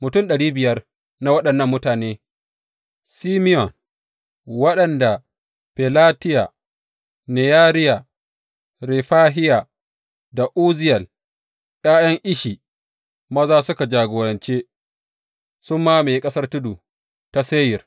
Mutum ɗari biyar na waɗannan mutane Simeyon, waɗanda Felatiya, Neyariya, Refahiya da Uzziyel, ’ya’yan Ishi maza suka jagorance, sun mamaye ƙasar tudu ta Seyir.